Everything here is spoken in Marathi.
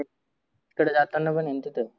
तिकडं जाताना पण आहे ना तीथं.